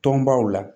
Tɔnbaw la